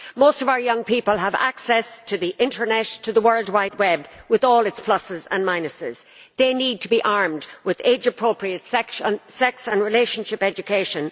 Most of our young people have access to the internet, to the World Wide Web, with all its pluses and minuses. They need to be armed with age-appropriate sex and relationship education.